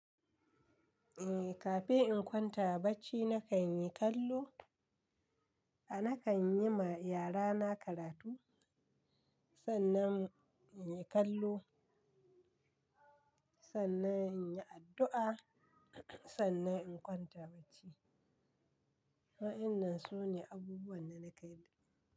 Eh, kafin in kwanta bacci nakan yi kallo, a nakan yi ma yara na karatu. Sannan in yi kallo, sannan in yi addu'a, sannan in kwanta bacci. Wa'inan su ne abubuwan da na ke yi.